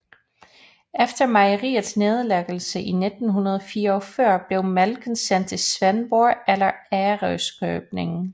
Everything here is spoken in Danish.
Efter mejeriets nedlæggelse i 1944 blev mælken sendt til Svendborg eller Ærøskøbing